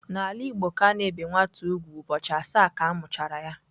N'ala Igbo ka a na-ebe nwa nwoke úgwù ụbọchị asaa ka a mụchara ya..